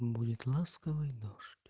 будет ласковый дождь